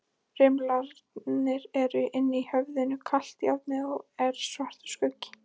Rimlarnir eru inni í höfðinu, kalt járnið er svartur skuggi.